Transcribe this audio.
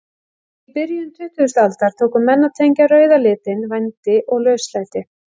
Í byrjun tuttugustu aldar tóku menn að tengja rauða litinn vændi og lauslæti.